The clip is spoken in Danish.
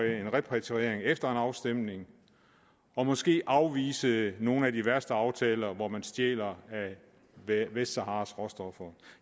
en repatriering efter en afstemning og måske afvise nogle af de værste aftaler hvor man stjæler af vestsaharas råstoffer